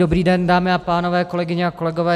Dobrý den dámy a pánové, kolegyně a kolegové.